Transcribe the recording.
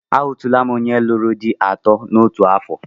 Ahụtụla m onye lụrụ di atọ n'otu afọ